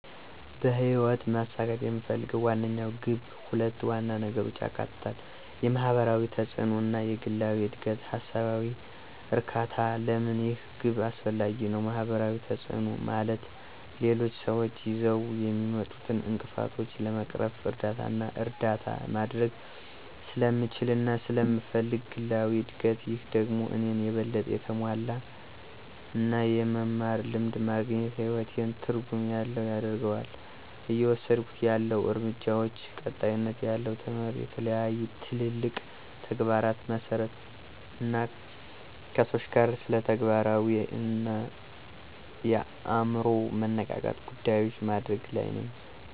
በህይወት ማሳካት የምፈልገው ዋነኛው ግብ ሁለት ዋና ነገሮችን ያካትታል፦ የማህበራዊ ተጽእኖ እና የግላዊ እድገትና ሃሳባዊ እርካታ? ለምን ይህ ግብ አስፈላጊ ነው? ማህበራዊ ተጽእኖ፦ ማለት ሌሎች ስዎች ይዘው የሚመጡትን እንቅፍቶችን ለመቅረፍ እርዳታና እርዳታ ማድርግ ስለምችልና ስለመፈልግ። ግላዊ እድግት፦ ይህ ደግሞ እኔን የበለጠ የተሞላ እና የመማር ልምድ ማግኝት ህይወቴን ትርጉም ያለው ያደርገዋል። እየወስድኩት ያለሁ እርምጃዎች፦ ቀጣይነት ያለው ትምህርት፣ የተለያዩ ትልልቅ ተግባራትን መሠራት አና ከሰዎች ጋር ስለተግባራዊ አና የአምሮ መነቃቃት ጉዳዮችን ማድርግ ለይ ነኝ።